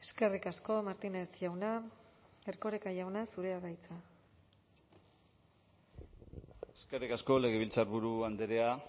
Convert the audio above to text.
eskerrik asko martínez jauna erkoreka jauna zurea da hitza eskerrik asko legebiltzarburu andrea